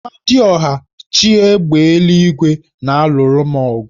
Amadiọha, chi égbè eluigwe na-alụru m ọgụ